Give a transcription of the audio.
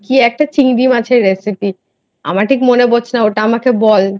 কি একটা চিংড়ি মাছের রেসিপি আমার ঠিক মনে পড়ছে না ওটা আমাকে বল?